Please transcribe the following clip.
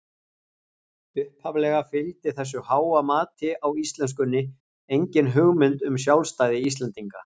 Upphaflega fylgdi þessu háa mati á íslenskunni engin hugmynd um sjálfstæði Íslendinga.